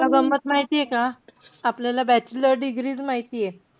तुला गंमत माहितीय का? आपल्याला bachelor degrees माहितीये.